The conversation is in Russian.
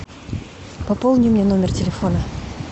пополни мне номер телефона